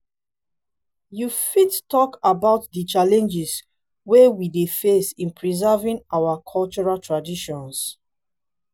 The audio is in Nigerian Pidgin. you fit talk about di challenges wey we dey face in preserving our our cultural traditions?